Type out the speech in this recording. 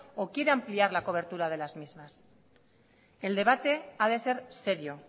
o quiere ampliar la cobertura de las mismas el debate ha de ser serio